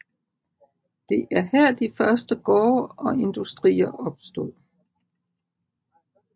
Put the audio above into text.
Det er her de første gårde og industrier opstod